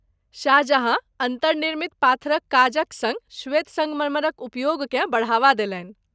शाहजहाँ अन्तर्निर्मित पाथरक काजक सङ्ग श्वेत संगमरमरक उपयोगकेँ बढ़ावा देलनि।